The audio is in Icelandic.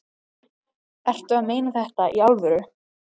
Ertu að meina þetta í alvöru?